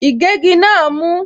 Ìgégi náà mú.